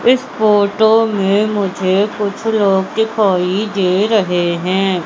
इस फोटो में मुझे कुछ लोग दिखाई दे रहे हैं।